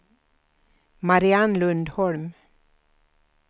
Mariann Lundholm